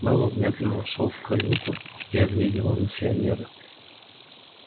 мэллоу медленно вошёл в каюту и оглядел миссионера